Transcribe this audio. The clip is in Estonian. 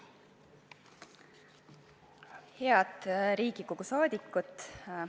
Head Riigikogu liikmed!